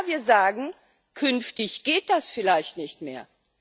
Und ja, wir sagen Künftig geht das vielleicht nicht mehr.